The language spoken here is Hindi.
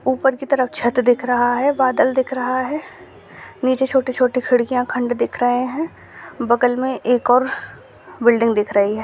ऊपर की तरफ छत दिख रहा है बादल दिख रहा है नीचे छोटी-छोटी खिड़कियाँ खंड दिख रहे है बगल मे एक और बिल्डिंग दिख रही है।